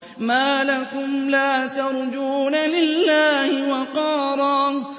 مَّا لَكُمْ لَا تَرْجُونَ لِلَّهِ وَقَارًا